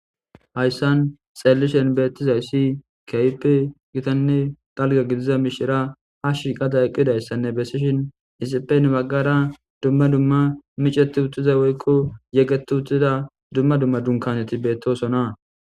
Haysan xeelishen beetizaysi keehipe gitane dalga gidida mishira ha shiiqada eqidaysa besishin hesape hina bagara duma duma mecetutida woyko yegetutuda duma duma dunkaeti beetosona.